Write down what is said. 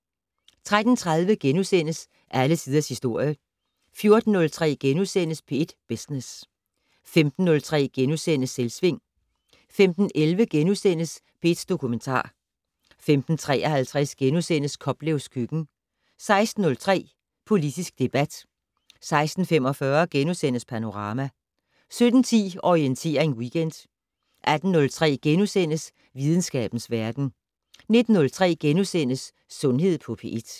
13:30: Alle Tiders Historie * 14:03: P1 Business * 15:03: Selvsving * 15:11: P1 Dokumentar * 15:53: Koplevs køkken * 16:03: Politisk debat 16:45: Panorama * 17:10: Orientering Weekend 18:03: Videnskabens Verden * 19:03: Sundhed på P1 *